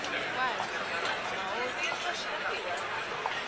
wakhe ma baoduke